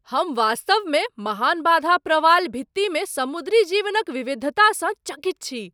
हम वास्तवमे महान बाधा प्रवाल भित्तिमे समुद्री जीवनक विविधतासँ चकित छी।